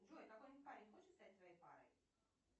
джой какой нибудь парень хочет стать твоей парой